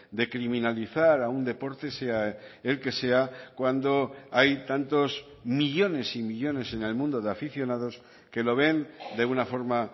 de criminalizar a un deporte sea el que sea cuando hay tantos millónes y millónes en el mundo de aficionados que lo ven de una forma